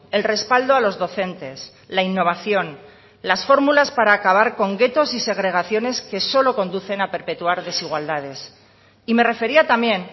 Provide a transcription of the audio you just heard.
el respaldo a los docentes la innovación las fórmulas para acabar con guetos y segregaciones que solo conducen a perpetuar desigualdades y me refería también